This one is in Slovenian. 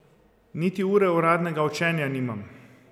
Niti ure uradnega učenja nimam.